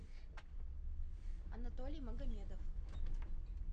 анатолий магомедов